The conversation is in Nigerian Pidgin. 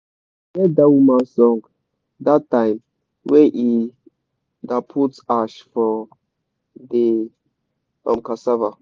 i hear da woman song da time wey e da put ash for de um cassava